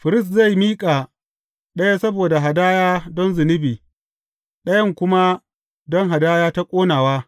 Firist zai miƙa ɗaya saboda hadaya don zunubi, ɗayan kuma don hadaya ta ƙonawa.